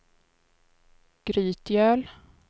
Grytgöl